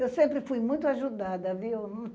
Eu sempre fui muito ajudada, viu?